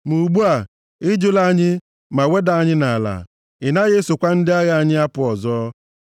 Ma ugbu a, ị jụla anyị ma weda anyị nʼala; ị naghị esokwa ndị agha anyị apụ ọzọ.